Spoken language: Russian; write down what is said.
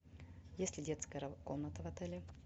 есть ли детская комната в отеле